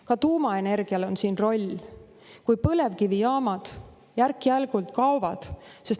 Ka tuumaenergial on oma roll, kui põlevkivijaamad järk-järgult kaovad.